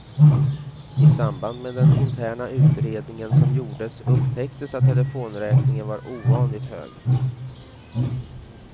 I samband med den interna utredningen som gjordes upptäcktes att telefonräkningen var ovanligt hög.